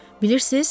Bilirsiniz?